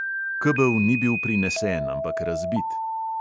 Kebel ni bil prinesen, ampak razbit.